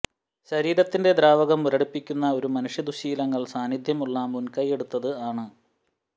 ശരീരത്തിൽ ദ്രാവകം മുരടിപ്പിനുള്ള ഒരു മനുഷ്യ ദുശ്ശീലങ്ങൾ സാന്നിദ്ധ്യമുള്ള മുൻകൈയെടുത്ത് ആണ്